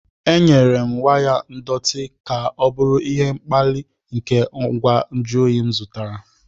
Enyere m waya ndọtị ka ọ bụrụ ihe mkpali nke ngwa nju oyi m zụtara.